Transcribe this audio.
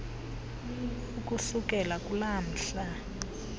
ukusukela kulaa mhla